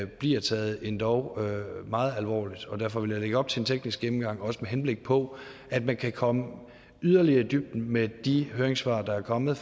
bliver taget endog meget alvorligt derfor vil jeg lægge op til en teknisk gennemgang også med henblik på at man kan komme yderligere i dybden med de høringssvar der er kommet